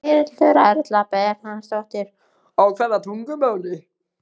Berghildur Erla Bernharðsdóttir: Á hvaða tungumáli?